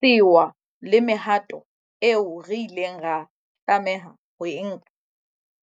Sewa le mehato eo re ileng ra tlameha ho e nka